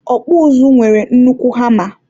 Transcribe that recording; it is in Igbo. ọkpụ ụzụ nwere nnukwu hama.